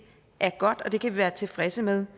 er godt og noget vi kan være tilfredse med